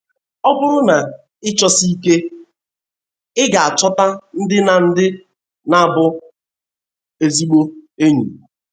Ọ bụrụ na ị chọsie ike, ị ga - achọta ndị na ndị na bụ ezigbo enyi